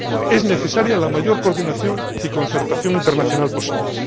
Es necesaria la mayor coordinación y concertación internacional posibles.